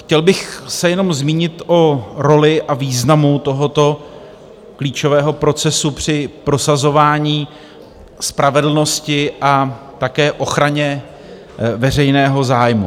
Chtěl bych se jenom zmínit o roli a významu tohoto klíčového procesu při prosazování spravedlnosti a také ochraně veřejného zájmu.